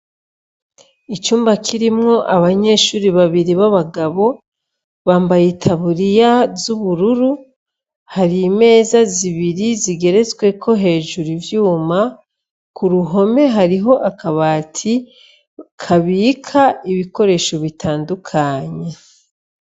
Icumba kirimwo abanyeshuri babiri b'abagabo, bambaye itaburiya z'ubururu, hari imeza zibiri zigeretweko hejuru ivyuma, ku ruhome hariho akabati kabika ibikoresho bitandukanye.